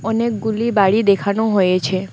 অনেকগুলি বাড়ি দেখানো হয়েছে।